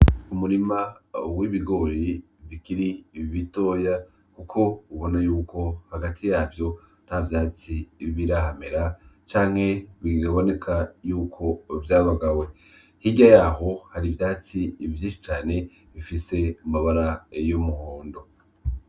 Umurima w'ibigori bikiri bitoya kuko ubona yuko hagati yavyo nta vyatsi birahamera canke biboneka yuko vyabagawe, hirya yaho hari ivyatsi vyinshi cane bifise amabara y'umuhondo.